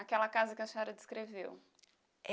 Aquela casa que a senhora descreveu?